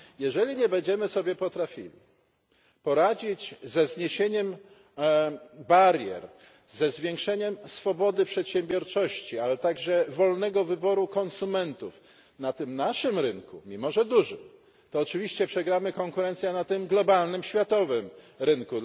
Jeżeli nie będziemy sobie potrafili poradzić ze zniesieniem barier, ze zwiększeniem swobody przedsiębiorczości, ale także wolnego wyboru konsumentów na tym naszym rynku mimo że dużym to oczywiście przegramy konkurencję na tym globalnym, światowym rynku.